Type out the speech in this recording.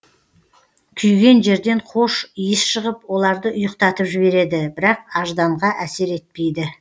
күйген жерден хош иіс шығып оларды ұйықтатып жібереді бірақ ажданға әсер етпейді